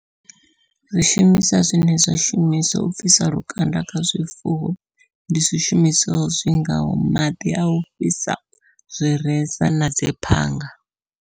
Ri shumisa zwine zwa shumiswa u bvisa lukanda kha zwifuwo, ndi zwishumiswa zwi ngaho maḓi au fhisa, zwireza na dziphanga.